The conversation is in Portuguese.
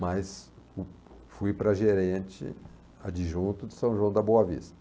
Mas fui para gerente adjunto de São João da Boa Vista.